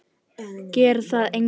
Það gerir það enginn.